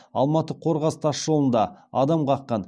алматы қорғас тас жолында адам қаққан